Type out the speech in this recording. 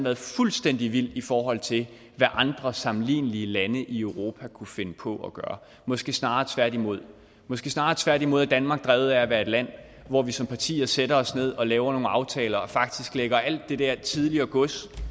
er fuldstændig vildt i forhold til hvad andre sammenlignelige lande i europa kunne finde på at gøre måske snarere tværtimod måske snarere tværtimod er danmark drevet af at være et land hvor vi som partier sætter os ned og laver nogle aftaler og faktisk lægger alt det der tidligere gods